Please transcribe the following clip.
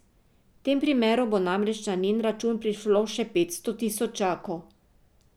V tem primeru bo namreč na njen račun prišlo še petsto tisočakov.